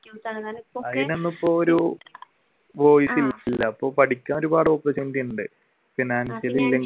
അതിനൊന്നും ഇപ്പൊ ഒരു voice ഇല്ല ഇപ്പൊ പഠിക്കാൻ ഒരുപാട് opportunity ഉണ്ട്.